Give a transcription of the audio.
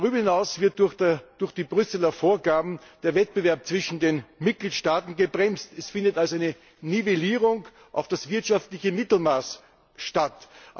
Darüber hinaus wird durch die Brüsseler Vorgaben der Wettbewerb zwischen den Mitgliedstaaten gebremst. Es findet also eine Nivellierung auf das wirtschaftliche Mittelmaß statt.